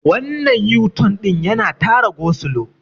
wannan yuton din yana Tara gosulo